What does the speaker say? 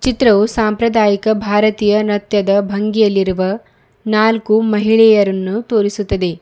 ಚಿತ್ರವು ಸಾಂಪ್ರದಾಯಿಕ ಭಾರತೀಯ ನೃತ್ಯದ ಬಂಗಿಯಲ್ಲಿರುವ ನಾಲ್ಕು ಮಹಿಳೆಯರನ್ನು ತೋರಿಸುತ್ತದೆ.